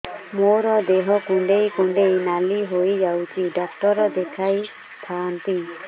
ମୋର ଦେହ କୁଣ୍ଡେଇ କୁଣ୍ଡେଇ ନାଲି ହୋଇଯାଉଛି ଡକ୍ଟର ଦେଖାଇ ଥାଆନ୍ତି